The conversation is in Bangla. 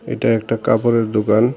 এটা একটা কাপড়ের দোকান।